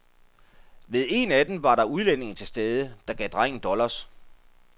Ved en af dem var der udlændinge til stede, der gav drengen dollars.